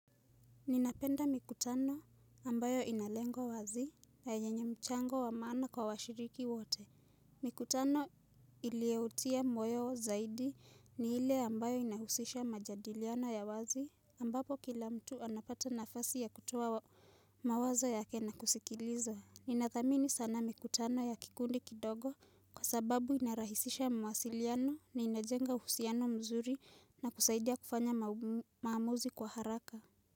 Ninapenda mikutano ambayo inalengo wazi na yenye mchango wa maana kwa washiriki wote. Mikutano ilioutia moyo zaidi ni hile ambayo inahusisha majadiliano ya wazi ambapo kila mtu anapata nafasi ya kutoa mawazo yake na kusikiliza. Ninathamini sana mikutano ya kikundi kidogo kwa sababu inarahisisha mwasiliano na inajenga husiano mzuri na kusaidia kufanya maamuzi kwa haraka.